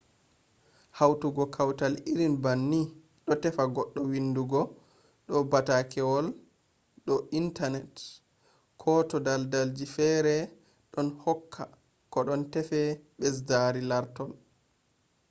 hautugo kawtal irin banni do tefa goɗɗo windugo do batakewol do internati; ko to daldalji feere ɗon hokka ko don teefa ɓesdari lartol